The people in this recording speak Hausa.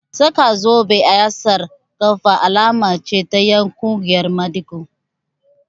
Saka zobe a yatsar ƙafa alama ce ta ƴan ƙungiyar maɗigo